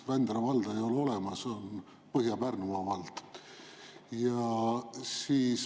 Vändra valda ei ole olemas, on Põhja-Pärnumaa vald.